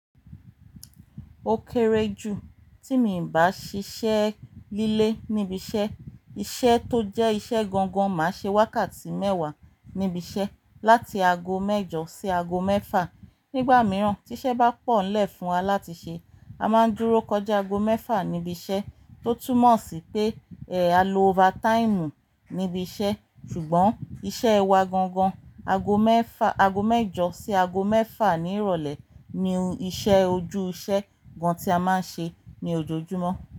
Ó kéré jù tí mi ò bá ṣiṣẹ́ líle níbi iṣẹ́. Iṣẹ́ tó jẹ́ iṣẹ́ gangan máa ṣe wákàtí mẹ́wàá níbi iṣẹ́, láti ago mẹ́jọ sí ago mẹ́fà. Nígbà mìíràn tí iṣẹ́ bá pọ̀nlẹ̀ fún wa láti ṣe, a máa ń dúró kọjá ago mẹ́fà níbi iṣẹ́ tó túmọ̀ sí pé, ẹ, a lo overtime níbi iṣẹ́. Ṣùgbọ́n iṣẹ́ wa gangan ago mẹ́fà, ago mẹ́jọ sí ago mẹ́fà ní ìrọ̀lẹ́ ni iṣẹ́ ojúṣẹ́ gan tí a máa ń ṣe ní ojoojúmọ́